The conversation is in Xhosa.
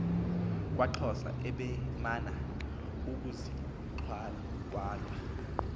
kwaxhosa ebemana ukuziqhawula